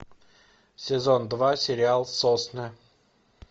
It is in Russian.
сезон два сериал сосны